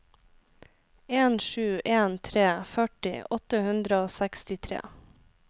en sju en tre førti åtte hundre og sekstitre